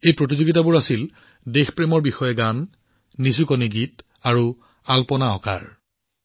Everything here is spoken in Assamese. এই প্ৰতিযোগিতাসমূহ গীত দেশপ্ৰেমমূলক গীত লুল্লী আৰু ৰংগোলী ইয়াৰ সৈতে জড়িত আছিল